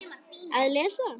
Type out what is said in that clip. Að lesa?